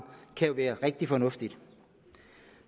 være rigtig fornuftigt